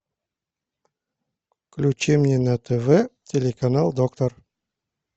включи мне на тв телеканал доктор